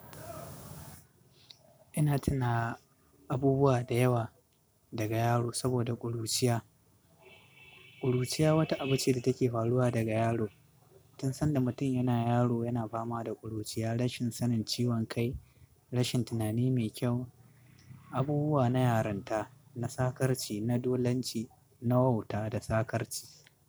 Ina tuna abubuwa da yawa daga yaro saboda ƙuruciya. Ƙuruciya wata abu ce da take faruwa daga yaro. Tun sanda mutum yana yaro, yana fama da ƙuruciya, rashin sanin ciwon kai, rashin tunani mai kyau, abubuwa na yaranta, na sakarci, na dolanci, na wauta da sakarci.